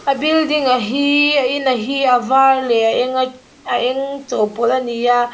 building hi a in a hi a var leh a eng a a eng a chawhpawlh a ni a.